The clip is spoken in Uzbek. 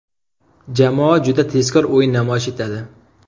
Jamoa juda tezkor o‘yin namoyish etadi.